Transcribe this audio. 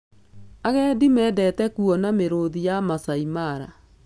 Agendi mendete kuona mĩrũthi ya Maasai Mara.